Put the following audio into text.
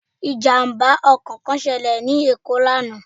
Ìjàmbá ọkò kán selè ní Èkó lánàá